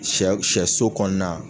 Shɛ shɛso kɔnɔna.